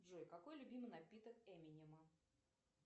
джой какой любимый напиток эминема